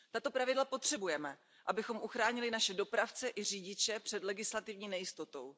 Tato pravidla potřebujeme, abychom uchránili naše dopravce i řidiče před legislativní nejistotou.